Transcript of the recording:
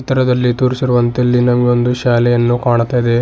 ಚಿತ್ರದಲ್ಲಿ ತೋರಿಸಿರುವಂತೆ ಇಲ್ಲಿ ನಮಗೆ ಒಂದು ಶಾಲೆಯನ್ನು ಕಾಣ್ತಾ ಇದೆ.